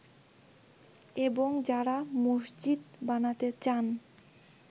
এবং যারা মসজিদ বানাতে চান